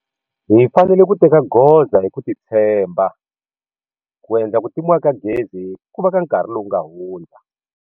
Hi fanele ku teka goza hi ku titshemba ku endla ku timiwa ka gezi ku va ka nkarhi lowu nga hundza.